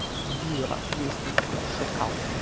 да есть он такой шакал